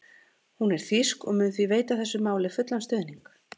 Hún er þýsk og mun því veita þessu máli fullan stuðning.